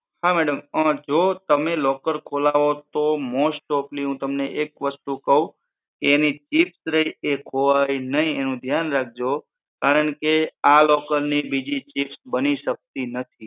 હા madam જો તમે locker ખોલાવો તો most offly હું તમને એક વસ્તુ કહું એની chip ખોવાય નહિ એ ધ્યાન રાખજો કારણકે આ locker ની બીજી chip બનતી નથી